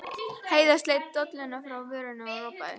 Heiða sleit dolluna frá vörunum og ropaði.